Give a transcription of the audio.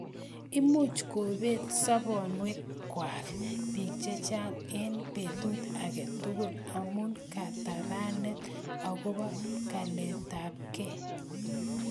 Imuch kobet sobonwek kwai bik chechang eng betut age tugul amu katabanet agobo kalaitab to get